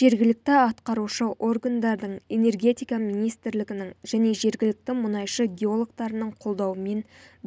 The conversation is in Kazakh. жергілікті атқарушы органдардың энергетика министрлігінің және жергілікті мұнайшы геологтарының қолдауымен